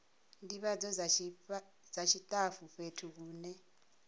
ndivhadzo dza tshitafu fhethu hune